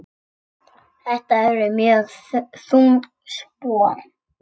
Þetta eru mjög þung spor.